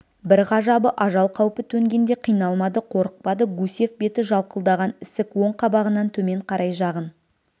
бір ғажабы ажал қаупі төнгенде қиналмады қорықпады гусев беті жалқылдаған ісік оң қабағынан төмен қарай жағын